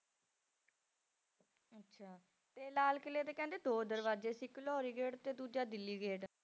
ਅੱਛਾ ਤੇ ਲਾਲ ਕਿਲ੍ਹੇ ਤੇ ਕਹਿੰਦੇ ਦੋ ਦਰਵਾਜੇ ਸੀ, ਇੱਕ ਲਾਹੌਰੀ gate ਤੇ ਦੂਜਾ ਦਿੱਲੀ gate